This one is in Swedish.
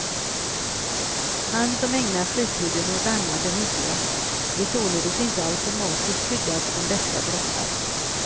Han som ägnar fritiden åt annat än idrott är således inte automatiskt skyddad från beska droppar.